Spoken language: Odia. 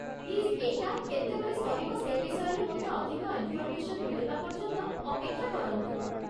ପ୍ଲିଜ୍ ଏଇଟା କେତେବେଳେ ସରିବ ସେ ବିଷୟରେ ମୋତେ ଅଧିକ ଇନ୍ଫର୍ମେସନ୍ ମିଳିବା ପର୍ଯ୍ୟନ୍ତ ଅପେକ୍ଷା କରନ୍ତୁ ।